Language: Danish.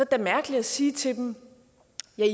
da mærkeligt at sige til dem